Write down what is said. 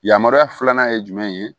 Yamaruya filanan ye jumɛn ye